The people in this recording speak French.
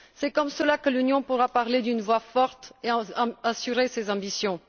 C'est comme cela que l'Union pourra parler d'une voix forte et assurer ses ambitions.